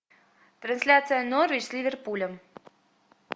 трансляция норвич с ливерпулем